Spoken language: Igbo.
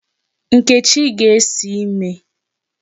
Nkechi ga-esi ime.